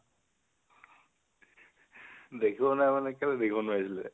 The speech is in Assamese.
দেখিব নোৱাৰি মানে কেলৈ দেখিব নোৱাৰিছিলে?